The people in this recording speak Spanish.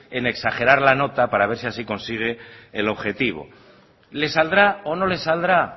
en exagerar la nota para ver si así consigue el objetivo le saldrá o no le saldrá